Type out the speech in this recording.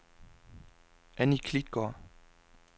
Annie Klitgaard